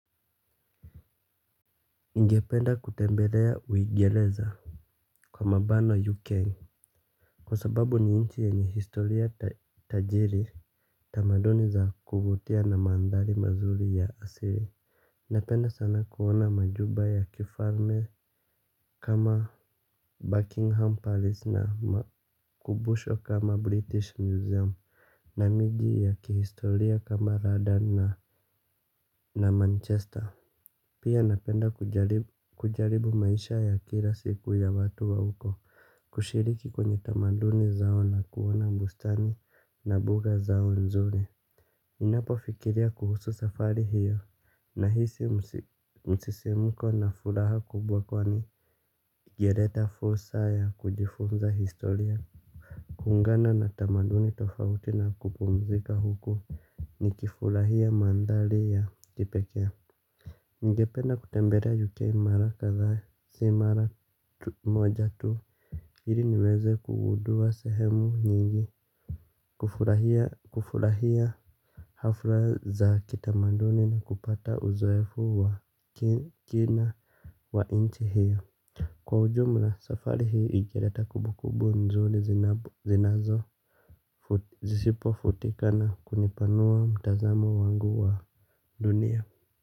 Ningependa kutembelea uingereza. Kwa mabano UK. Kwa sababu ni nchi yenye historia tajiri. Tamaduni za kuvutia na mandhari mazuri ya asili. Napenda sana kuona majumba ya kifalme. Kama Buckingham Palace na makubusho kama British Museum. Na miji ya kihistoria kama Radha na Manchester. Pia napenda kujaribu maisha ya kila siku ya watu wa huko. Kushiriki kwenye tamaduni zao na kuona bustani na buga zao nzuri ninapofikiria kuhusu safari hiyo nahisi msisimko na furaha kubwa kwani ingeleta fursa ya kujifunza historia. Kuungana na tamaduni tofauti na kupumzika huku nikifurahia mandhari ya kipekee ningependa kutembelea UK mara kadhaa si mara moja tu ili niweze kugundua sehemu nyingi. Kufurahia hafla za kitamaduni na kupata uzoefu wa kina wa nchi hiyo. Kwa ujumla safari hii ingeleta kumbukumbu nzuri zinazo zisipofutika na kunipanua mtazamo wangu wa dunia.